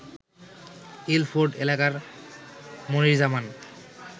Ilford এলাকার মনির জামান